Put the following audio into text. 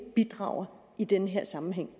bidrager i den her sammenhæng